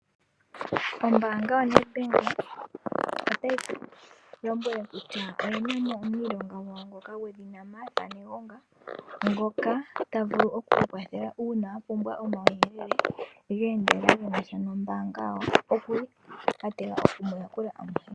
Ombaanga yo Nedbank otayi ku lombwele kutya oyena mo omuniilonga gwawo gwedhina Martha Negonga ngoka ta vulu oku oku kwathela uuna wa pumbwa omawuyelele geendelela genasha nombaanga okuli ategelela okumu yakula amuhe.